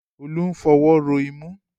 Olú ń fọwọ́ ro imú